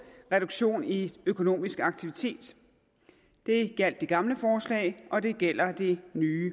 reduktion i den økonomiske aktivitet det gjaldt det gamle forslag og det gælder det nye